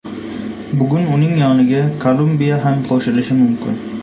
Bugun uning yoniga Kolumbiya ham qo‘shilishi mumkin.